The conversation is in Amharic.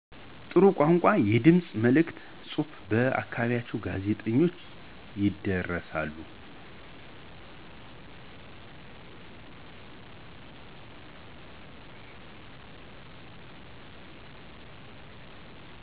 ጥሩ ቋንቋ, የድምፅ መልዕክቶች, ጽሑፎች በ አካባቢዎ ጋዜጠኞች ይደርሳሉ።